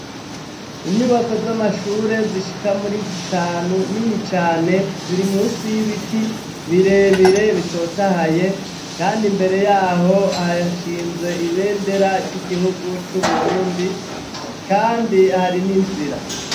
Inyubako z'amashure zishika muri zitanu nini cane, ziri munsi y'ibiti birebire bitotahaye, kandi imbere yaho harahinze ibendera ry'igihugu c'Uburundi, kandi hari n'inzira.